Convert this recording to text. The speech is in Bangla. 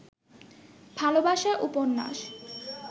ভালবাসার উপন্যাস